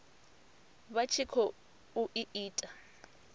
vha tshi khou i ita